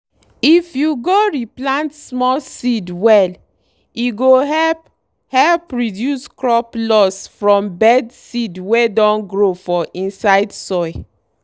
if you go re plant small seed well e go help help reduce crop loss from bad seed wey don grow for inside soil.